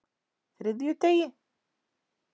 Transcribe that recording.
þriðjudegi